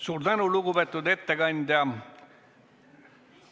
Suur tänu, lugupeetud ettekandja!